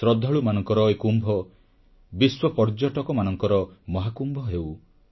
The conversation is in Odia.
ଶ୍ରଦ୍ଧାଳୁମାନଙ୍କର ଏ କୁମ୍ଭ ବିଶ୍ୱପର୍ଯ୍ୟଟନର ମହାକୁମ୍ଭ ହେଉ